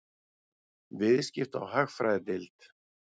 Viðskipta- og hagfræðideild.